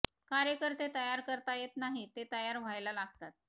कार्यकर्ते तयार करता येत नाहीत ते तयार व्हायला लागतात